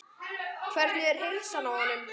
Hvernig er heilsan á honum?